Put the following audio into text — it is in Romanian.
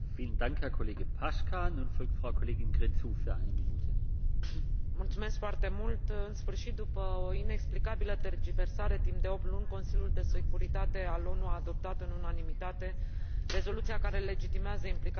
În sfârșit, după o inexplicabilă tergiversare timp de opt luni, Consiliul de Securitate al ONU a adoptat în unanimitate rezoluția care legitimează implicarea internațională pentru prevenirea distrugerii statului centrafrican și a acutizării crizei umanitare.